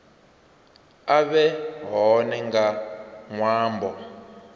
a vhe hone nga ṅwambo